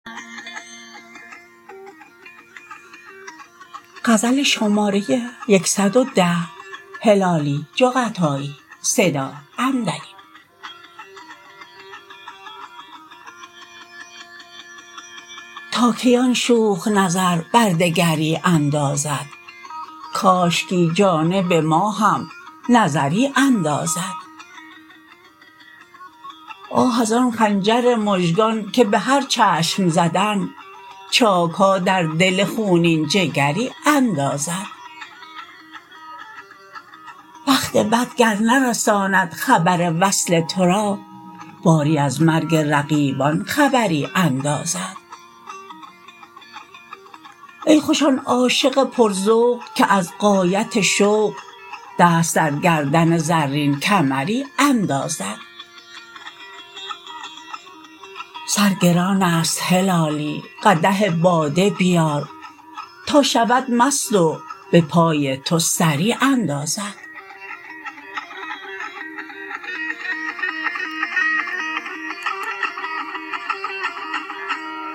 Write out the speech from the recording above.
تا کی آن شوخ نظر بر دگری اندازد کاشکی جانب ما هم نظری اندازد آه از آن خنجر مژگان که بهر چشم زدن چاکها در دل خونین جگری اندازد بخت بد گر نرساند خبر وصل ترا باری از مرگ رقیبان خبری اندازد ای خوش آن عاشق پر ذوق که از غایت شوق دست در گردن زرین کمری اندازد سر گرانست هلالی قدح باده بیار تا شود مست و بپای تو سری اندازد